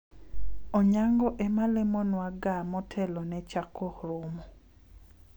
Onyango ema lemonwa ga motelo ne chako romo